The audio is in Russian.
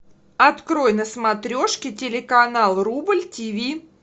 открой на смотрешке телеканал рубль тиви